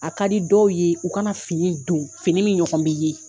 A ka di dɔw ye u kana fini don fini min ɲɔgɔn bɛ ye